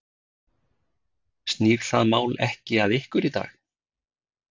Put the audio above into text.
Snýr það mál ekki að ykkur í dag?